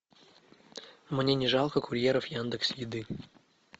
мне не жалко курьеров яндекс еды